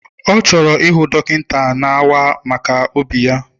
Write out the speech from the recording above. Ọ chọrọ ịhụ dọkịta na-awa maka obi ya.